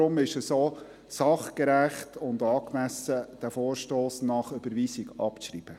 Deshalb ist es auch sachgerecht und angemessen, diesen Vorstoss nach der Überweisung abzuschreiben.